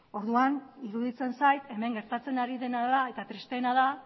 orduan iruditzen zait hemen gertatzen ari dena da eta tristeena da